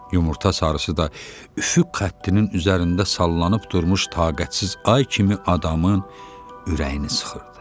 Yumurta sarısı da üfüq xəttinin üzərində sallanıb durmuş taqətsiz ay kimi adamın ürəyini sıxırdı.